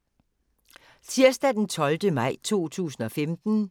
Tirsdag d. 12. maj 2015